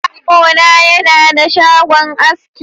Yaro na yana da shagon aski.